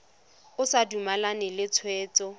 o sa dumalane le tshwetso